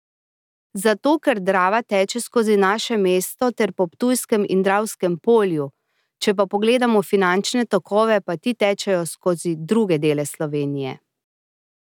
Zato ker Drava teče skozi naše mesto ter po Ptujskem in Dravskem polju, če pa pogledamo finančne tokove, pa ti tečejo skozi druge dele Slovenije.